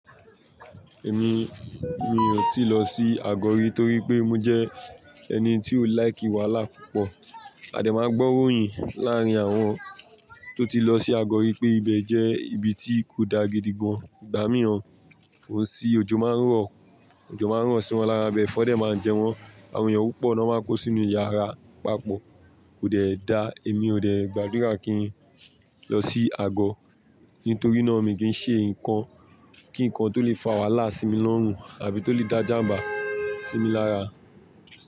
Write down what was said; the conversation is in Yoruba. Èmi, mi ò tíì lọ sí Ago ri torí pé mo jẹ́ ẹni tí ó like wàhálà púpọ̀. A dé máa ń gbọ́'ròyìn láàrín àwọn tó ti lọ sí Ago ri pé ibẹ̀ jẹ́ ibi tí kò dá gidi gan. Igbà mìíràn, ò sì òjò máa ń ro, òjò máa ń rọ́ sí wọn lára bẹ̀e, ẹfọ̀n dẹ́ máa ń jẹ wọ́n, àwọn èèyàn púpọ̀ náà máa ń kó sínú yàrá papọ̀. Kò dẹ́ daa, èmi ò dẹ́ gbàdúrà kí n lọ sí Agọ́, nítorí náà mi kìi n ṣe nǹkan kí nǹkan tó lè fa wàhálà sí mi lọ́rùn àbí tó lè dá jàmbá sí mi lára.